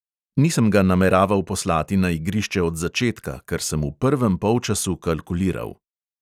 Nisem ga nameraval poslati na igrišče od začetka, ker sem v prvem polčasu kalkuliral.